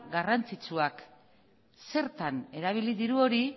garrantzitsuak zertan erabili diru hori